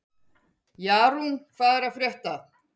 Jarún, hvað er að frétta?